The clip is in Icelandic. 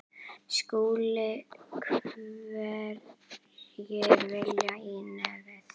SKÚLI: Hverjir vilja í nefið.